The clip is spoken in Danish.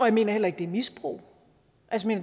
mener heller ikke det er misbrug